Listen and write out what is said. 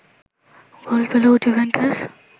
গোল পেল জুভেন্টাস